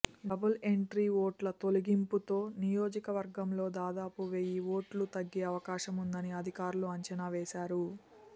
double entry ఓట్ల తొలగింపుతో నియోజకవర్గంలో దాదాపు వెయ్యి ఓట్లు తగ్గే అవకాశముందని అధికారులు అంచనా వేశారు